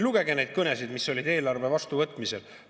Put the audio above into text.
Lugege neid kõnesid, mis olid eelarve vastuvõtmisel!